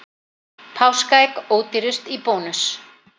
Páskaegg ódýrust í Bónus